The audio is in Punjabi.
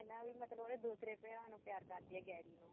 ਇਹ ਨਾ ਵੀ ਮਤਲਬ ਉਹ ਉਹਦੇ ਦੂਸਰੇ ਭਰਾ ਨੂੰ ਪਿਆਰ ਕਰਦੀ ਐ ਗੈਰੀ ਨੂੰ